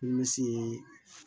Misi